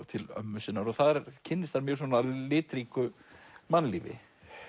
til ömmu sinnar og þar kynnist hann mjög litríku mannlífi